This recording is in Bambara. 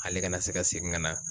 Ale kana se ka segin ka na